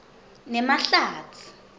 nemahlatsi